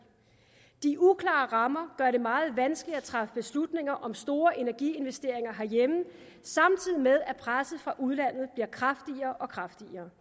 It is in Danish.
de uklare rammer gør det meget vanskeligt at træffe beslutninger om store energiinvesteringer herhjemme samtidig med at presset fra udlandet bliver kraftigere og kraftigere